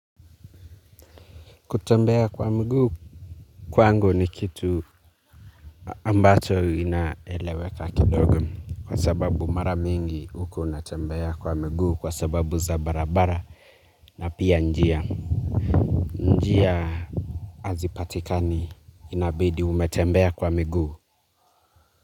Kutembea kwa mguu kwangu ni kitu ambacho inaeleweka kidogo. Kwa sababu maramingi huko unatembea kwa miguu kwa sababu za barabara na pia njia. Njia hazipatikani inabidi umetembea kwa miguu.